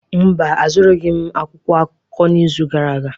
Mba, azụrụghị m akwụkwọ akụkọ n'izu gara aga.